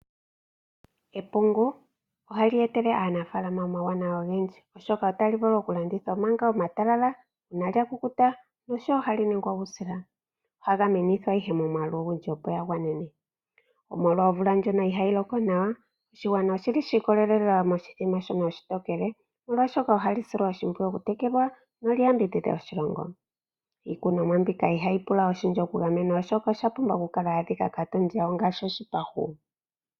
Epungu ohali etele aanafaalama omauwanawa ogendji, oshoka otali vulu okulandithwa manga etalala, ngele lya kukuta nosho wo ohali ningwa uusila. Ohali kunwa nduno momwaalu ogundji, opo li gwane. Molwa omvula ndjoka ihaayi loko nawa, oshigwana oshi ikolelela moshimbombo shoka oshitokele, molwashoka ohali silwa oshimpwiyu okutekelwa noli yambidhidhe oshilongo. Iikunomwa mbika ihayi pula oshindji okugamenwa, oshoka osha pumba okukala ya adhika kaatondi yawo ngaashi oshipahu.